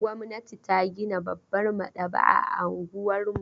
Gwamnati ta gina babbar maɗaba'a a unguwar mu.